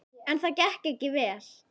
En það gekk ekki vel.